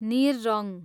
निर रङ